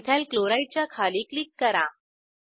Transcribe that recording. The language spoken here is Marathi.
इथाइल क्लोराइड च्या खाली क्लिक करा